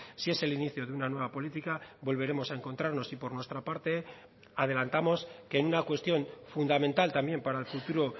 si es el inicio de una nueva política volveremos a encontrarnos y por nuestra parte adelantamos que en una cuestión fundamental también para el futuro